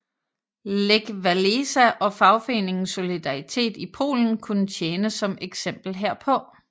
Lech Wałęsa og fagforeningen Solidaritet i Polen kunne tjene som eksempel herpå